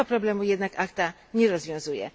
Tego problemu jednak ACTA nie rozwiązuje.